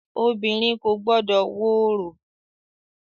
Obìnrin kò gbọdọ̀ wo orò!